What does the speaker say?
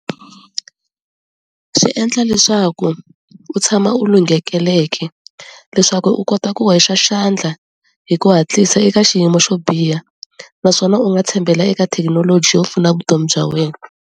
Swi endla leswaku u tshama u lunghekeleke leswaku u kota ku wexa xandla hi ku hatlisa eka xiyimo xo biha naswona u nga tshembela eka thekinoloji yo pfuna vutomi bya wena.